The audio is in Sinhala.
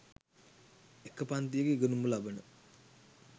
එක පන්තියක ඉගෙනුම ලබන